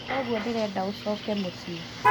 Kũguo ndĩrenda ũcooke mũciĩ